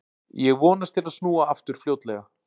Ég vonast til að snúa aftur fljótlega.